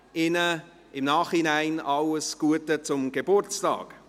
Ihnen nachträglich alles Gute zum Geburtstag.